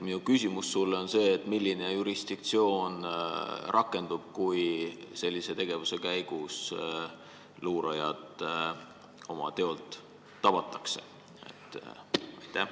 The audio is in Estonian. Minu küsimus sulle on: milline jurisdiktsioon rakendub, kui sellise tegevuse käigus luurajad teolt tabatakse?